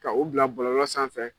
Ka u bila bɔlɔlɔ sanfɛ.